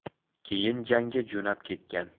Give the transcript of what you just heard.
Keyin jangga jo‘nab ketgan.